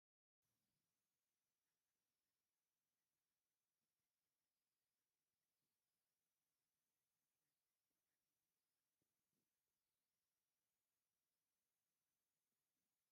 ኣብ ሓመድ ጎጆ ገዛ ኣሎ እቲ ደገ ኣፉ ብሓመድ ቀይሕን ፃዕዳን መመላክዒ ተቀሊሙ ኣብ ድሕሪት ሳዕርታት በቂሉ ኣሎ። እዚ ጎጆ ካብ ምንታይ ይስራሕ ?